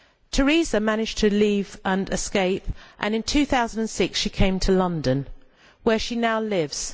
Teresa managed to leave and escape and in 2006 she came to London where she now lives.